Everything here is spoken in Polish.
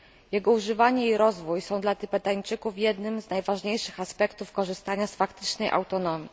Jego używanie i rozwój są dla Tybetańczyków jednym z najważniejszych aspektów korzystania z faktycznej autonomii.